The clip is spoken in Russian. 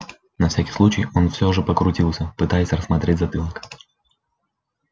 на всякий случай он все же покрутился пытаясь рассмотреть затылок